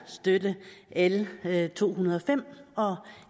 støtte l to hundrede og fem og